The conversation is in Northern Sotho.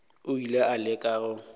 o ile a leka go